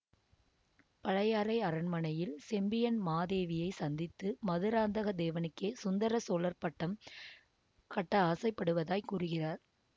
பழையாறை அரண்மனையில் செம்பியன் மாதேவியை சந்தித்து மதுராந்தக தேவனுக்கே சுந்தர சோழர் பட்டம் கட்ட ஆசைப்படுவதாய் கூறுகிறார்